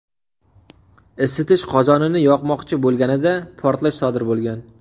isitish qozonini yoqmoqchi bo‘lganida portlash sodir bo‘lgan.